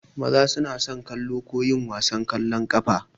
Maza suna so kallo ko yin wasan ƙwallon ƙafa.